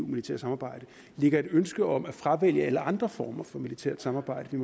militære samarbejde ligger et ønske om at fravælge alle andre former for militært samarbejde